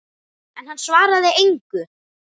En hann svaraði engu.